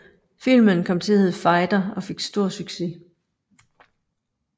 Filmen kom til at hedde Fighter og fik stor succes